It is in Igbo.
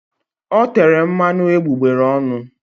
O tere mmanụ egbugbere ọnụ.